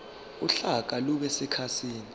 uhlaka lube sekhasini